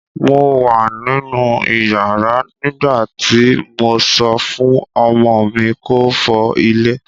Mo wà nínú ìyàrá nígbà tí mo sọ fún ọmọ mi kó fọ ilẹ̀